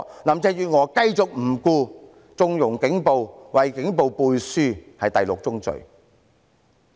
林鄭月娥繼續不理，縱容警暴，為警暴背書，此為第六宗罪。